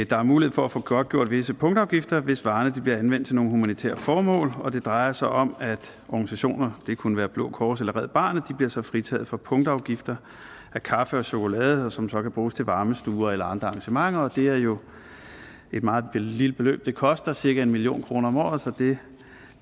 der er mulighed for at få godtgjort visse punktafgifter hvis varerne bliver anvendt til humanitære formål det drejer sig om at organisationer det kunne være blå kors eller red barnet så bliver fritaget for punktafgifter af kaffe og chokolade som så kan bruges til varmestuer eller andre arrangementer det er jo et meget lille beløb det koster cirka en million kroner om året så det